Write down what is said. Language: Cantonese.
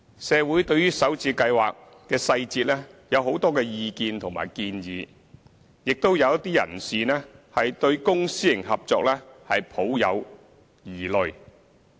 社會對於首置計劃細節有很多意見和建議，亦有一些人士對公私營合作抱有疑慮。